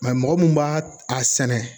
mɔgɔ min b'a a sɛnɛ